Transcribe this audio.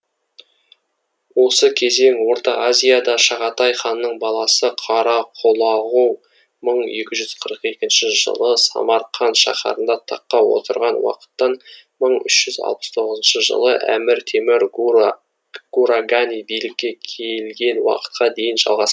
осы кезең орта азияда шағатай ханның баласы қарақұлағу мың екі жүз қырық екінші жылы самарқан шаһарында таққа отырған уақыттан мың үш жүз алпыс тоғызыншы жылы әмір темір гурагани билікке келген уақытқа дейін жалғас